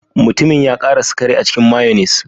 Mutumin ya ƙara sukari a cikin mayonnaise.